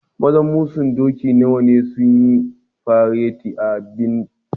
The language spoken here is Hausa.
Maza masun doki nawa ne sun yi fareti a'bikin?